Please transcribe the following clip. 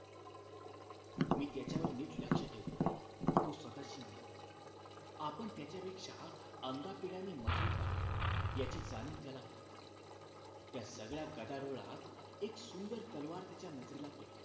मी त्याच्यावर नीट लक्ष ठेवतो तो स्वतःशी म्हणाला आपण त्याच्यापेक्षा अंगापिढ्याने मजबूत आहोत याची जाणीव त्याला होती त्या सगळ्या गदारोळात एक सुंदर तलवार त्याच्या नजरेला पडली